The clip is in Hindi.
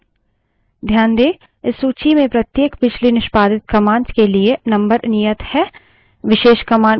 ध्यान दें इस सूची में प्रत्येक पिछली निष्पादित commands के लिए number नियत है